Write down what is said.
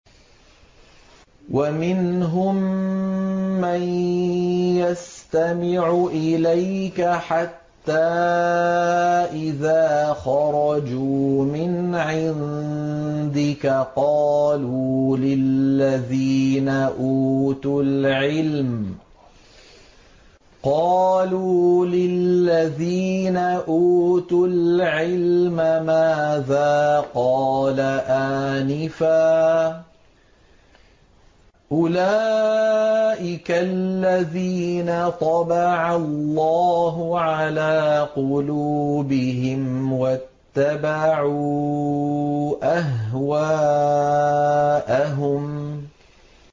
وَمِنْهُم مَّن يَسْتَمِعُ إِلَيْكَ حَتَّىٰ إِذَا خَرَجُوا مِنْ عِندِكَ قَالُوا لِلَّذِينَ أُوتُوا الْعِلْمَ مَاذَا قَالَ آنِفًا ۚ أُولَٰئِكَ الَّذِينَ طَبَعَ اللَّهُ عَلَىٰ قُلُوبِهِمْ وَاتَّبَعُوا أَهْوَاءَهُمْ